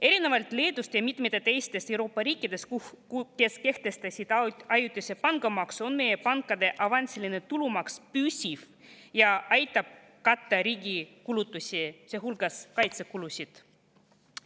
Erinevalt Leedust ja mitmest teisest Euroopa riigist, kes on kehtestanud ajutise pangamaksu, on meie pankade avansiline tulumaks püsiv ja aitab katta riigi kulutusi, sealhulgas kaitsekulusid.